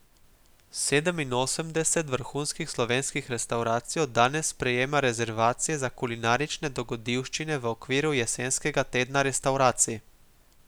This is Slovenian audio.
Sedeminosemdeset vrhunskih slovenskih restavracij od danes sprejema rezervacije za kulinarične dogodivščine v okviru jesenskega Tedna restavracij.